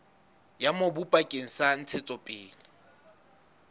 ya mobu bakeng sa ntshetsopele